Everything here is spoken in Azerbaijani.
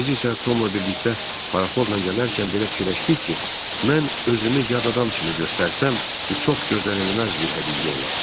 Biz isə Tomla birlikdə paraxodla gələrkən belə fikirləşdik ki, mən özümü yad adam kimi göstərsəm, bu çox gözlənilməz bir hədiyyə olar.